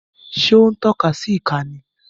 Ṣé ó ń tọ́ka sí ìka ni?